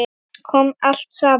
Þá kom allt saman.